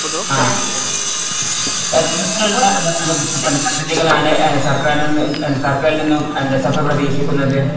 ആഹ് പദ്ധതികളാണ് സർക്കാരിൽ സർക്കാരിൽ നിന്ന് സഫ പ്രതീക്ഷിക്കുന്നത്?